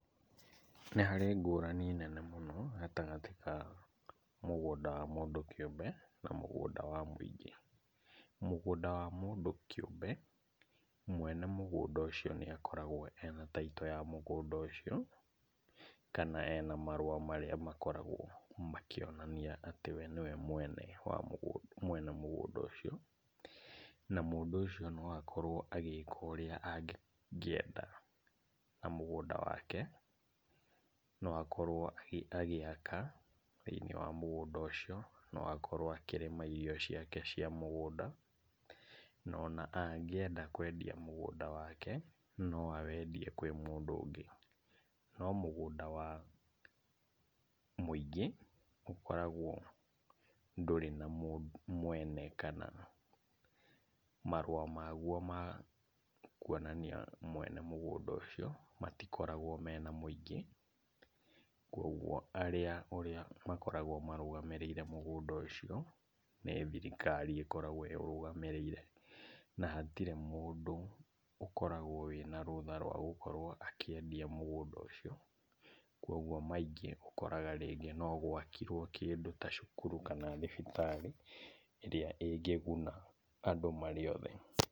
Nĩ harĩ ngũrani nene mũno gatagatĩ ka mũgũnda wa mũndũ kĩũmbe na mũgũnda wa mũingĩ. Mũgũnda wa mũndũ kĩũmbe mwene mũgũnda ũcio nĩakoragwo ena taitũ ya mũgũnda ũcio, kana ena marũa marĩa makoragwo makĩonanai atĩ we nĩwe mwene wa mũgũnda mwene mũgũnda ũcio, na mũndũ ũcio no akorwo agĩka ũrĩa angĩenda na mũgũnda wake. No akorwo agĩaka thĩiniĩ wa mũgũnda ũcio, no akorwo akĩrĩma irio ciake cia mũgũnda, na ona angĩenda kwendia mũgũnda wake, no awendie kwĩ mũndũ ũngĩ. No mũgũnda wa mũingĩ ũkoragwo ndũrĩ na mwena kana marũa maguo ma kuonania mwene mũgũnda ũcio matikoragwo mena mũingĩ, kuoguo arĩa ũrĩa ũkoragwo ũmarũgamĩrĩire mũgũnda ũcio nĩ thirikari ĩkoragwo ĩrũgamĩrĩire, na hatirĩ mũndũ ũkoragwo wĩna rũtha rwa gũkorwo akĩendia mũgũnda ũcio, kuoguo maingĩ ũkoraga rĩngĩ no gwakirwo kĩndũ ta cukuru kana thibitarĩ ĩrĩa ĩngĩguna andũ marĩ othe.